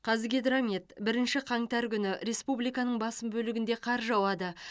қазгидромет бірінші қаңтар күні республиканың басым бөлігінде қар жауады